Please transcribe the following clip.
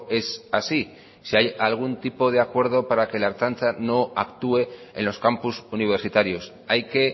es así si hay algún tipo de acuerdo para que la ertzaintza no actúe en los campus universitarios hay que